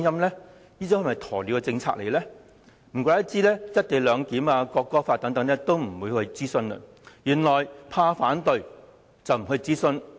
難怪政府未有就"一地兩檢"和國歌法等事宜進行諮詢，原來是怕反對聲音。